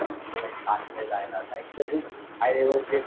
police किंवा